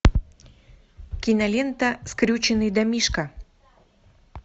кинолента скрюченный домишко